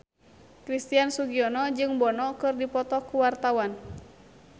Christian Sugiono jeung Bono keur dipoto ku wartawan